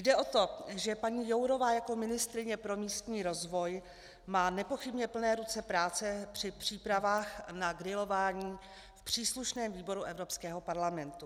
Jde o to, že paní Jourová jako ministryně pro místní rozvoj má nepochybně plné ruce práce při přípravách na grilování v příslušném výboru Evropského parlamentu.